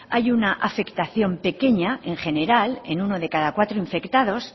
hay una afectación pequeña en general en uno de cada cuatro infectados